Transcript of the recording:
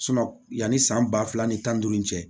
yanni san ba fila ni tan ni duuru cɛ